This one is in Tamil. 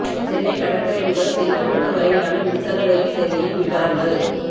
சென்னை கடற்கறை முதல் செங்கல்பட்டு வரையிலான மின்சார ரயில் சேவையில் விபரங்கள்